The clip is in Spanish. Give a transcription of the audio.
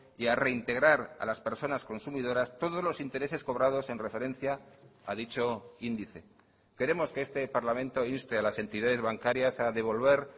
y a reintegrar a las personas consumidoras todos los intereses cobrados en referencia a dicho índice queremos que este parlamento inste a las entidades bancarias a devolver